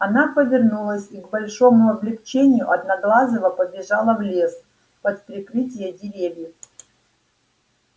она повернулась и к большому облегчению одноглазого побежала в лес под прикрытие деревьев